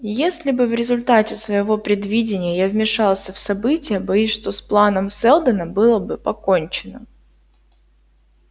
если бы в результате своего предвидения я вмешался в события боюсь что с планом сэлдона было бы покончено